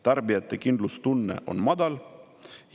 Tarbijate kindlustunne on madal.